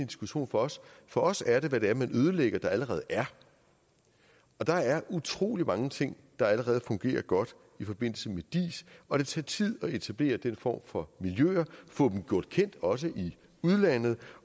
diskussion for os for os er det hvad man ødelægger af noget der allerede er og der er utrolig mange ting der allerede fungerer godt i forbindelse med diis og det tager tid at etablere den form for miljøer få dem gjort kendt også i udlandet